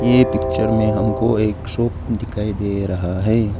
ये पिक्चर में हमको एक शॉप दिखाई दे रहा है।